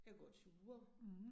Jeg går ture